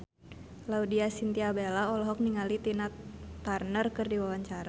Laudya Chintya Bella olohok ningali Tina Turner keur diwawancara